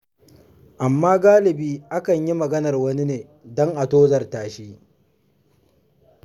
Amma galibi akan yi maganar wani ne don a tozarta shi.